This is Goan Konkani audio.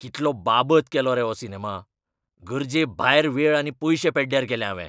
कितलो बाबत केलो रे हो सिनेमा. गरजेभायर वेळ आनी पयशे पेड्ड्यार केले हावें.